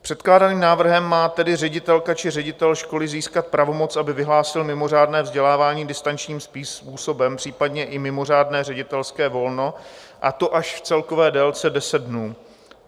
Předkládaným návrhem má tedy ředitelka či ředitel školy získat pravomoc, aby vyhlásil mimořádné vzdělávání distančním způsobem, případně i mimořádné ředitelské volno, a to až v celkové délce deset dnů.